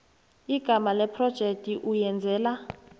igama lephrojekthi oyenzela